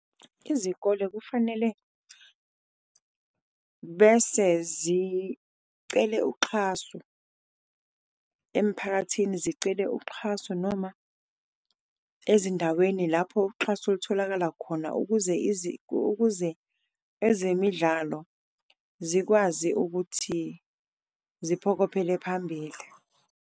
Izikole kufanele bese zicele uxhaso emphakathini, zicele uxhaso noma ezindaweni lapho uxhaso lutholakala khona ukuze , ukuze ezemidlalo zikwazi ukuthi ziphokophele phambili.